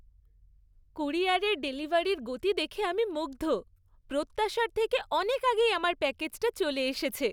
ক্যুরিয়ারের ডেলিভারির গতি দেখে আমি মুগ্ধ। প্রত্যাশার থেকে অনেক আগেই আমার প্যাকেজটা চলে এসেছে!